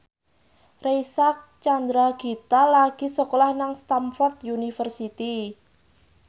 Reysa Chandragitta lagi sekolah nang Stamford University